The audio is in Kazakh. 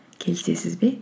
келісесіз бе